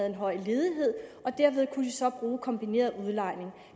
en høj ledighed og derved kunne man så bruge kombineret udlejning